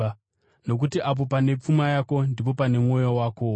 Nokuti apo pane pfuma yako ndipo pane mwoyo wakowo.